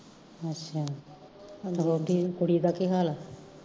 ਤੁਹਾਡੀ ਕੁੜੀ ਦਾ ਕੀ ਹਾਲ ਆ